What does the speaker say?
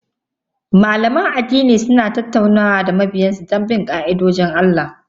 Malaman addini suna tattaunawa da mabiyan su don jan hankali da tunatarwa kan bin ka'idojin Allah.